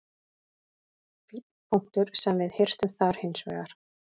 Fínn punktur sem við hirtum þar hins vegar.